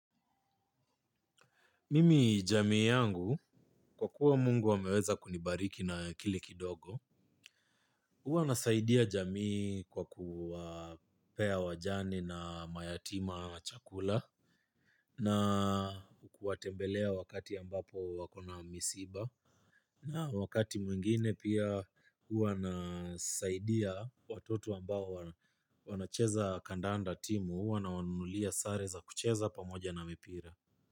Mimi jamii yangu kwa kuwa mungu ameweza kunibariki na kile kidogo. Huwa nasaidia jamii kwa kuwapea wajane na mayatima chakula. Na kuwatembelea wakati ambapo wako na misiba. Na wakati mwingine pia huwa nasaidia watoto ambao wanacheza kandanda timu huwa nawanunulia sare za kucheza pamoja na mipira.